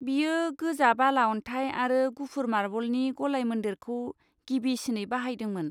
बेयो गोजा बाला अनथाइ आरो गुफुर मार्बलनि गलाय मोन्देरखौ गिबिसिनै बाहायदोंमोन।